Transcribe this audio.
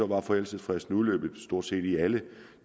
var forældelsesfristen udløbet i stort set alle